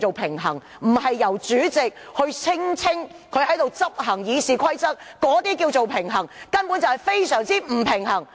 平衡並非來自主席聲稱他如何執行《議事規則》，這種所謂的平衡根本是非常不平衡！